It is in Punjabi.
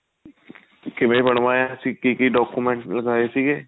ਕਿਵੇਂ ਬਣਵਾਇਆ ਸੀ ਕੀ ਕੀ document ਲਾਏ ਸੀ